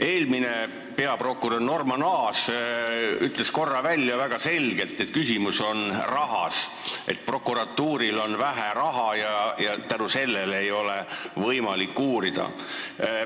Eelmine peaprokurör Norman Aas ütles korra väga selgelt välja, et küsimus on rahas: prokuratuuril on vähe raha, mistõttu ei ole võimalik nii palju uurida.